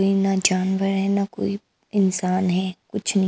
ना जानवर है ना कोई इंसान है कुछ नहीं --